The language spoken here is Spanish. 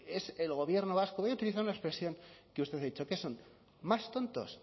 es el gobierno vasco voy a utilizar una expresión que usted ha dicho qué son más tontos